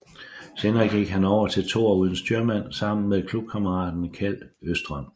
Senere gik han over til toer uden styrmand sammen med klubkammeraten Kjeld Østrøm